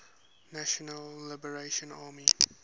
national liberation army